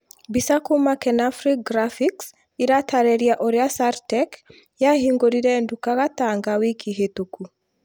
mbica kuma kenafric graphics ĩratarĩria ũrĩa saartec yahingũrire nduka gatanga wiki hĩtũku